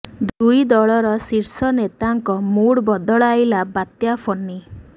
ଦୁଇ ଦଳର ଶୀର୍ଷ ନେତାଙ୍କ ମୁଡ୍ ବଦଳାଇଲା ବାତ୍ୟା ଫୋନି